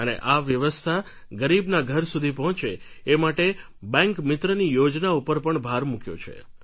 અને આ વ્યવસ્થા ગરીબના ઘર સુધી પહોંચે એ માટે બેન્ક મિત્રની યોજના ઉપર પણ ભાર મૂક્યો છે